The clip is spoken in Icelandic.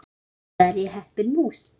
Mikið er ég heppin mús!